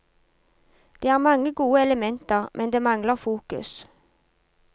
Det er mange gode elementer, men det mangler fokus.